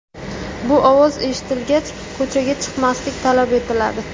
Bu ovoz eshitilgach, ko‘chaga chiqmaslik talab etiladi.